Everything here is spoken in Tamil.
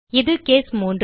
இது கேஸ் 3